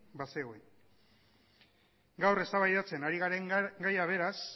bazegoen gaur eztabaidatzen ari garen gaia beraz